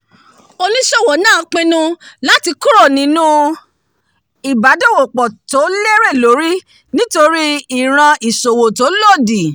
oníṣòwò náà pinnu láti kúrò nínúu ìbádòwòpọ̀ tó lérè lórí nítorí ìran ìṣòwò tó lòdì